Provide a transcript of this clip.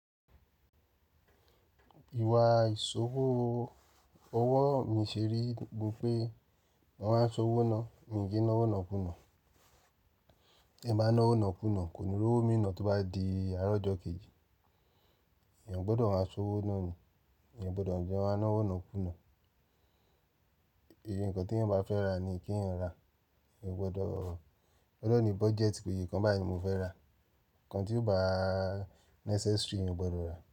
Ìwà ìṣòwò owó mi ṣeré ni pé mo máa ń san owó náà, mí kí n ná owó náà kùnà. Ti n bá ná owó náà kùnà, kò ní rọ́wó mi nà tí ó bá di àárọ̀ ọjọ́ kejì. Ìyẹn gbọ́dọ̀ máa san owó náà ni, ìyẹn gbọ́dọ̀ jẹ́ máa ná owó náà kùnà. Èyí nǹkan tí ẹ̀yin bá fẹ́ rà ni kí ẹ̀yin rà, ẹyan o gbọ́dọ̀. Ọ de ní budget, pe iyẹ ǹkan báyìí mo fẹ́ rà. Ǹkan tí o bá necessary, eyan o gbọ́dọ̀ rà.